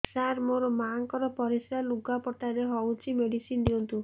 ସାର ମୋର ମାଆଙ୍କର ପରିସ୍ରା ଲୁଗାପଟା ରେ ହଉଚି ମେଡିସିନ ଦିଅନ୍ତୁ